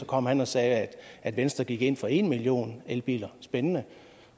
kom han og sagde at venstre gik ind for en million elbiler spændende